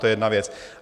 To je jedna věc.